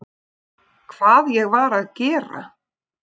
Hvað ég var að gera?